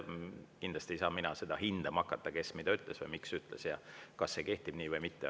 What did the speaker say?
Kindlasti ei saa mina hakata hindama, kes mida ütles või miks ütles ja kas see kehtib või mitte.